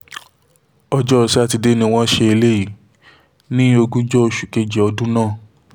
ọjọ́ sátidé ni wọ́n ṣe eléyìí ní ogúnjọ́ oṣù kejì ọdún náà